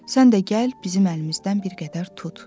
Sən də gəl, bizim əlimizdən bir qədər tut.